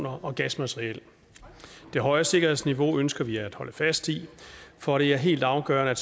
og gasmateriel det høje sikkerhedsniveau ønsker vi at holde fast i for det er helt afgørende at